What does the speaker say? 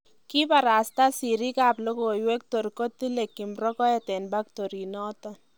Kibarasta siriik ab logoiwek tor kotile Kim rogoet en pactoritt noton